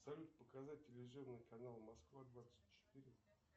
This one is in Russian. салют показать телевизионные каналы москва двадцать четыре